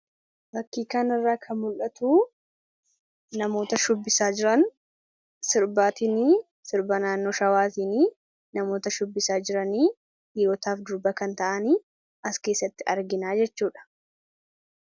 hakiikaan irraa ka mul'atuu namoota shubbisaa jiran sirbaatinii sirba naannoo shawaatiinii namoota shubbisaa jiranii dhiirotaaf durba kan ta'anii as keessatti arginaa jechuudha.